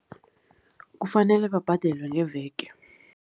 Kufanele babhadelwe ngeveke.